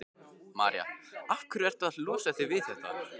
María: Af hverju ertu að losa þig við þetta?